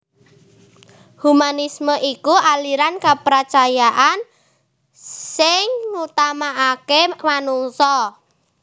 Humanisme iku aliran kapracayan sing ngutamakaké manungsa